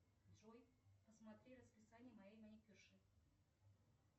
джой посмотри расписание моей маникюрши